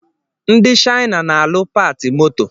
Ndi Shina na-alu pati moto